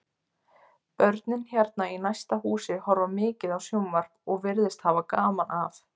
Börnin hérna í næsta húsi horfa mikið á sjónvarp og virðast hafa gaman af.